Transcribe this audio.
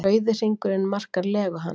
Rauði hringurinn markar legu hans.